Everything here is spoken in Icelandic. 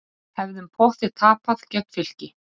Hefðum pottþétt tapað gegn Fylki